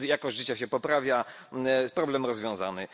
Jakość życia się poprawia, problem rozwiązany.